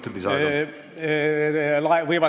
Kolm minutit lisaaega.